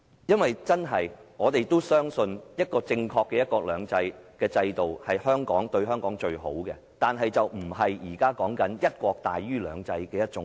我們真的相信，正確的"一國兩制"模式對香港是最好的，但並非現時的"一國"大於"兩制"的模式。